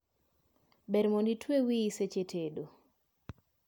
Ber mondo itwe wii seche tedo